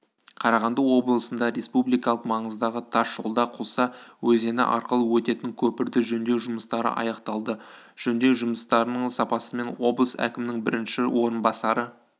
қарағанды облысында республикалық маңыздағы тас жолда құлса өзені арқылы өтетін көпірді жөндеу жұмыстары аяқталды жөндеу жұмыстарының сапасымен облыс әкімінің бірінші орынбасары